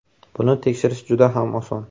Buni tekshirish juda ham oson.